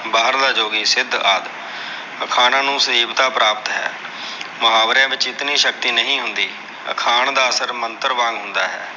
ਬਾਹਰਲਾ ਜੋਗੀ ਸਿੱਧ ਆਦਿ। ਅਖਾਣਾਂ ਨੂੰ ਸਹੀਵਤਾ ਪ੍ਰਾਪਤ ਹੈ। ਮੁਹਾਵਰਿਆਂ ਵਿੱਚ ਇਤਨੀ ਸ਼ਕਤੀ ਨਹੀਂ ਹੁੰਦੀ। ਅਖਾਣ ਦਾ ਅਸਰ ਮੰਤਰ ਵਾਂਗ ਹੁੰਦਾ ਹੈ।